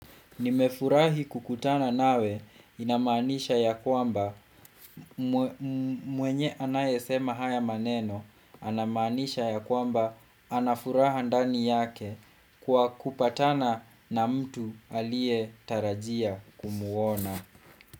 Nimefurahi kukutana nawe inamanisha ya kwamba mmwe mm mwenye anaye sema haya maneno, anamanisha ya kwamba anafuraha ndani yake kwa kupatana na mtu alie tarajia kumuona.